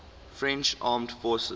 french armed forces